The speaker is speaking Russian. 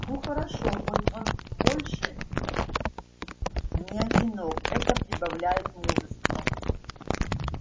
но хорошо хоть он больше не одинок это прибавляет мужества